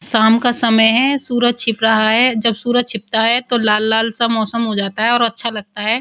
साम का समय है। सूरज छिप रहा है। जब सूरज छिपता है तो लाल-लाल सा मौसम हो जाता है और अच्छा लगता है।